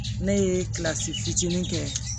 Ne ye kilasi fitinin kɛ